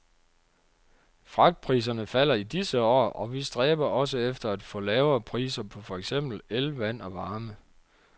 Fragtpriserne falder i disse år, og vi stræber også efter at få lavere priser på for eksempel el, vand og varme.